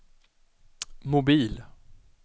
mobil